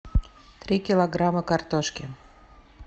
три килограмма картошки